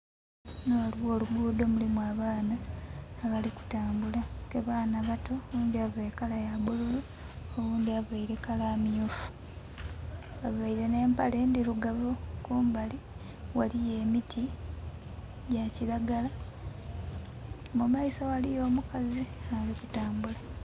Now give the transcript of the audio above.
Ghano ghaligho olugudho mulimu abaana abali kutambula ke baana bato, oghundhi aveire kala ya bululu, oghundi aveire kala myufu baveire ne mpale ndhirugavu. Kumbali ghaliyo emiti gya kiragala mu maiso ghaliyo omukazi ali kutambula.